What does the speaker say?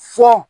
Sɔ